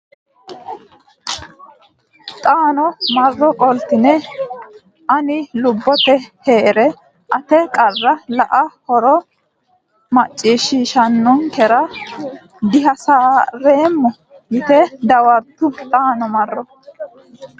xaano marro qoltine Ani lubbote hee re ate qarra la a huuro ne macciishshiishshinikkinni dihasi reemma yite dawartu xaano marro.